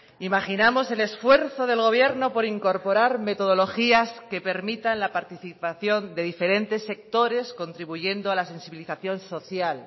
imaginamos el esfuerzo del gobierno por incorporar metodologías que permitan la participación de diferentes sectores contribuyendo a la sensibilización social